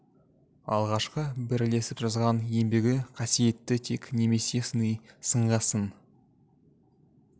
алғашқы бірлесіп жазған еңбегі қасиетті тек немесе сыни сынға сын